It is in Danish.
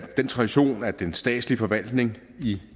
den tradition at den statslige forvaltning i